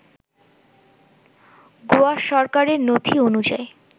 গোয়া সরকারের নথি অনুযায়ী